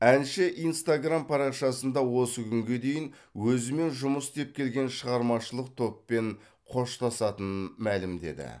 әнші инстаграмм парақшасында осы күнге дейін өзімен жұмыс істеп келген шығармашылық топпен қоштасатынын мәлімдеді